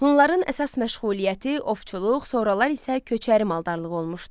Hunların əsas məşğuliyyəti ovçuluq, sonralar isə köçəri maldarlıq olmuşdu.